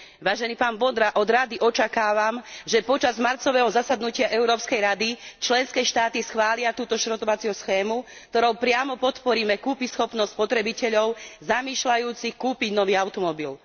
Vážený pán Vondra, od Rady očakávam, že počas marcového zasadnutia Európskej rady členské štáty schvália tento šrotovací program, ktorým priamo podporíme kúpyschopnosť spotrebiteľov zamýšľajúcich kúpiť nový automobil.